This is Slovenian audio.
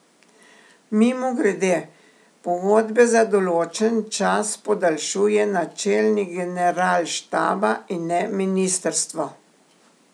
Mimogrede, pogodbe za določen čas podaljšuje načelnik generalštaba in ne ministrstvo.